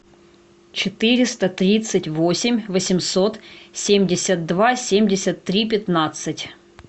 четыреста тридцать восемь восемьсот семьдесят два семьдесят три пятнадцать